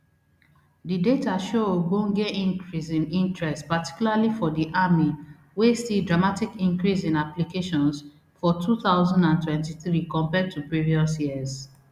di data show ogbonge increase in interest particularly for di army wey see dramatic increase in applications for two thousand and twenty-three compared to previous years